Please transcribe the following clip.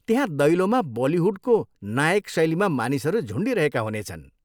त्यहाँ दैलोमा बलिहुडको नायक शैलीमा मानिसहरू झुन्डिरहेका हुनेछन्।